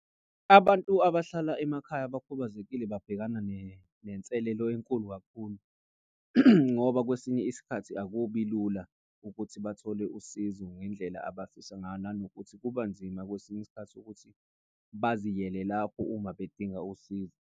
Abantu abahlala emakhaya abakhubazekile babhekana nenselelo enkulu kakhulu. Ngoba kwesinye isikhathi akubi lula ukuthi bathole usizo ngendlela abafisa ngayo. Nanokuthi kuba nzima kwesinye isikhathi ukuthi baziyele lapho uma bedinga usizo.